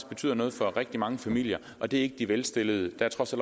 betyder noget for rigtig mange familier og det er ikke de velstillede der er trods